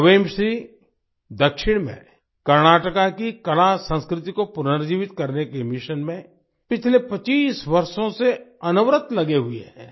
क्वेमश्री दक्षिण में कर्नाटका की कलासंस्कृति को पुनर्जीवित करने के मिशन में पिछले 25 वर्षों से अनवरत लगे हुए हैं